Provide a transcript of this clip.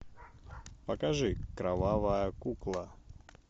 покажи кровавая кукла